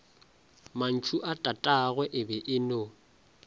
mantšuatatagwe e be e no